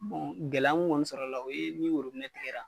gɛlɛya mun kɔni sɔrɔla o ye ni tigɛla.